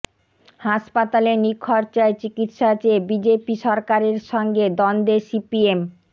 হাসপাতালে নিখরচায় চিকিৎসা চেয়ে বিজেপি সরকারের সঙ্গে দ্বন্দ্বে সিপিএম